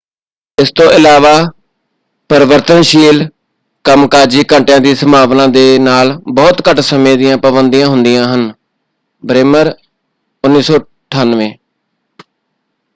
ਇਸ ਤੋਂ ਇਲਾਵਾ ਪਰਿਵਰਤਨਸ਼ੀਲ ਕੰਮਕਾਜੀ ਘੰਟਿਆਂ ਦੀ ਸੰਭਾਵਨਾ ਦੇ ਨਾਲ ਬਹੁਤ ਘੱਟ ਸਮੇਂ ਦੀਆਂ ਪਾਬੰਦੀਆਂ ਹੁੰਦੀਆਂ ਹਨ। ਬ੍ਰੇਮਰ 1998